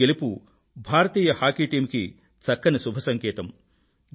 ఈ గెలుపు భారతీయ హాకీ టీమ్ కి చక్కని శుభసంకేతం